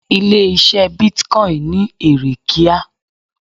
Ilé ise Bitcoin ni ere kíá.